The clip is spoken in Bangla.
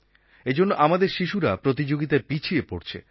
এজন্য আমাদের শিশুরা প্রতিযোগিতায় পিছিয়ে পড়ছে